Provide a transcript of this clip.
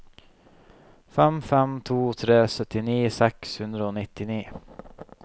fem fem to tre syttini seks hundre og nittini